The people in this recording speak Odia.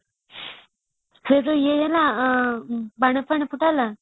ସେ ଯୋଉ ଇଏ ହେଲା ବାଣ ଫାଣ ଫୁଟା ହେଲା